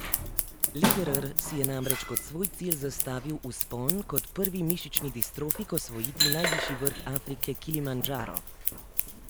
Lederer si je namreč kot svoj cilj zastavil vzpon kot prvi mišični distrofik osvojiti najvišji vrh Afrike Kilimandžaro.